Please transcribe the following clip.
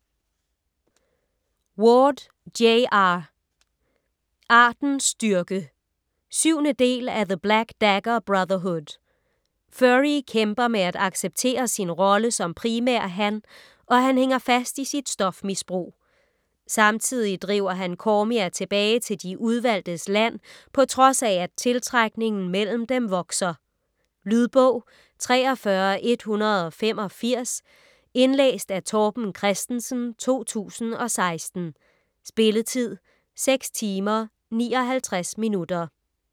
Ward, J. R.: Artens styrke 7. del af The black dagger brotherhood. Phury kæmper med at acceptere sin rolle som primærhan, og han hænger fast i sit stofmisbrug. Samtidig driver han Cormia tilbage til De Udvalgtes Land på trods af at tiltrækningen mellem dem vokser. . Lydbog 43185 Indlæst af Torben Christensen, 2016. Spilletid: 6 timer, 59 minutter.